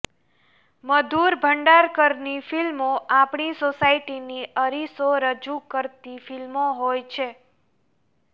મધુર ભંડારકરની ફિલ્મો આપણી સોસાયટીની અરીસો રજૂ કરતી ફિલ્મો હોય છે